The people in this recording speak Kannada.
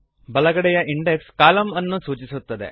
ಬಲಗಡೆಯ ಇಂಡೆಕ್ಸ್ ಕಾಲಮ್ ಅನ್ನು ಸೂಚಿಸುತ್ತದೆ